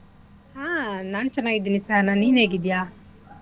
ಹಾ ನಾನ್ ಚೆನ್ನಾಗ್ ಇದೀನಿ ಸಹನಾ ನೀನ್ ಹೇಗಿದ್ಯ?